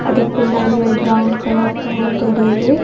அதுக் பின்னாடி ஒரு பிரௌன் கலர் டோர் தெரியிது.